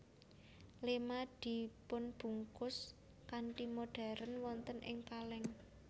Lema dipunbungkus kanthi modern wonten ing kaleng